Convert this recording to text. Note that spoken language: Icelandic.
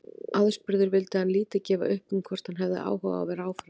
Aðspurður vildi hann lítið gefa upp um hvort hann hefði áhuga á að vera áfram.